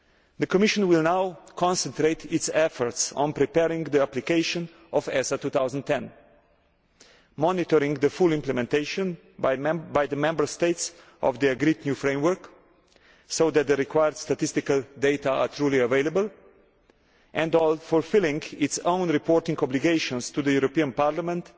The Commission will now concentrate its efforts on preparing the application of ESA 2010, monitoring the full implementation by the Member States of the agreed new framework so that the required statistical data are truly available and fulfilling its own reporting obligations to the European Parliament